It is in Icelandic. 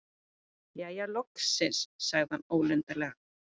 Jæja, loksins- sagði hann ólundarlega.